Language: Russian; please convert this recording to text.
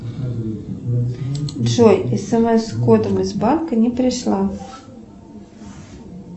джой смс с кодом из банка не пришла